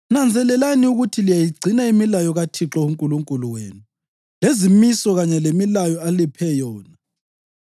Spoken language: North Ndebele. Nanzelelani ukuthi liyayigcina imilayo kaThixo uNkulunkulu wenu lezimiso kanye lemilayo aliphe yona.